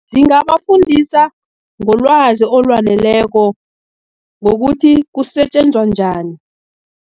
Zingabafundisa ngolwazi olwaneleko, ngokuthi kusetjenzwa njani.